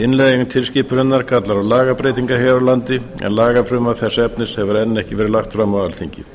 innleiðing tilskipunarinnar kallar á lagabreytingar hér á landi en lagafrumvarp þess efnis hefur enn ekki verið lagt fram á alþingi